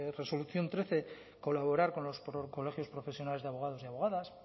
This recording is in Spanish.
resolución trece colaborar con los colegios profesionales de abogados y abogadas